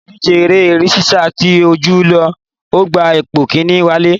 Ní ìdíje eré sisa tí Olú lọ, ó gbé ipò kinni wálé